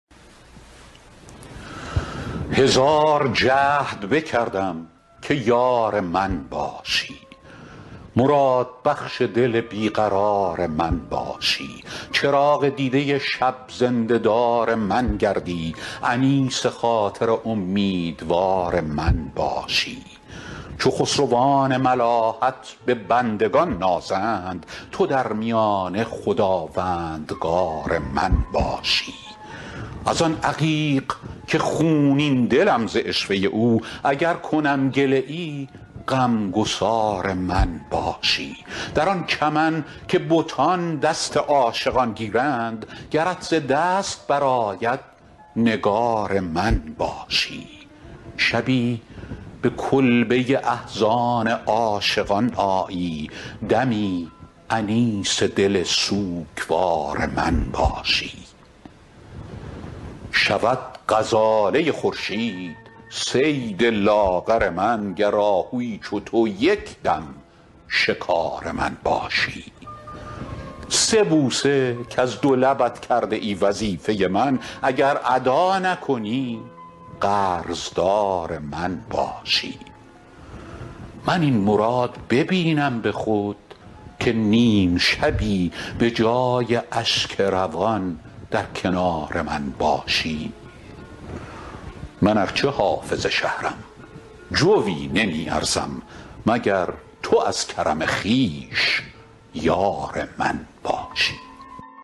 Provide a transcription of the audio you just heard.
هزار جهد بکردم که یار من باشی مرادبخش دل بی قرار من باشی چراغ دیده شب زنده دار من گردی انیس خاطر امیدوار من باشی چو خسروان ملاحت به بندگان نازند تو در میانه خداوندگار من باشی از آن عقیق که خونین دلم ز عشوه او اگر کنم گله ای غم گسار من باشی در آن چمن که بتان دست عاشقان گیرند گرت ز دست برآید نگار من باشی شبی به کلبه احزان عاشقان آیی دمی انیس دل سوگوار من باشی شود غزاله خورشید صید لاغر من گر آهویی چو تو یک دم شکار من باشی سه بوسه کز دو لبت کرده ای وظیفه من اگر ادا نکنی قرض دار من باشی من این مراد ببینم به خود که نیم شبی به جای اشک روان در کنار من باشی من ار چه حافظ شهرم جویی نمی ارزم مگر تو از کرم خویش یار من باشی